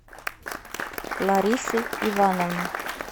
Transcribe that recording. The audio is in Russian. ларисы ивановны